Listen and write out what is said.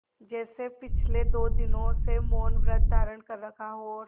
जैसे पिछले दो दिनों से मौनव्रत धारण कर रखा हो और